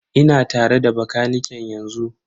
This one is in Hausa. Ina tare da bakaniken yanzu.